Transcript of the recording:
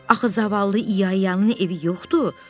Axı zavallı İyanın evi yoxdur.